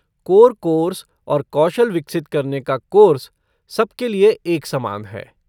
Core course और कौशल विकसित करने का कोर्स सब के लिए एक समान है।